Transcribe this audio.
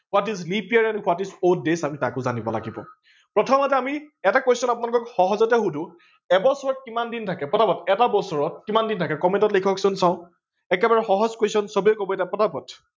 what is leap year and what is for day আমি তাকো জানিব লাগিব, প্ৰথমতে এটা question আপোনালোকক সহজতে সোধো এবছৰত কিমান দিন থাকে পতাপত এটা বছৰত কিমান দিন থাকে comment ত লিখক চোন। একেবাৰে সহজ question চবে কব এতিয়া